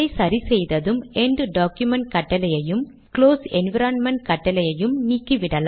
slash item கொண்டு துவங்கும் ஒவ்வொரு உரைபாகமும் புல்லட் வடிவில் துவங்கும்